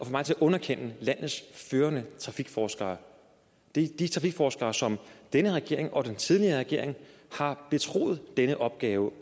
mig til at underkende landets førende trafikforskere de trafikforskere som denne regering og den tidligere regering har betroet den opgave